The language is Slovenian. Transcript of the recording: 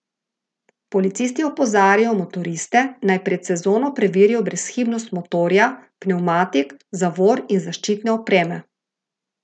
Policisti opozarjajo motoriste, naj pred sezono preverijo brezhibnost motorja, pnevmatik, zavor in zaščitne opreme.